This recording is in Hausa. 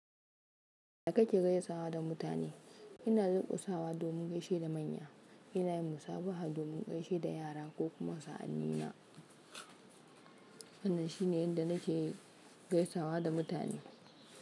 Ya ka ke gaisawa da mutane? Ina durku sawa domin gaishe da manya, ina yin musabaha domin gaishe da yara ko kuma sa'anni na. Wanan shine inda na ke gaisawa da mutane.